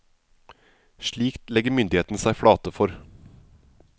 Slikt legger myndighetene seg flate for.